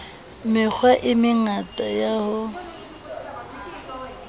mekgwa e mengata ya ho